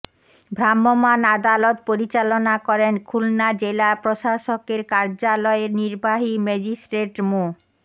ভ্রাম্যমাণ আদালত পরিচালনা করেন খুলনা জেলা প্রশাসকের কার্যালয়ের নির্বাহী ম্যাজিস্ট্রেট মো